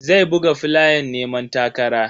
Zai buga flayan neman takara.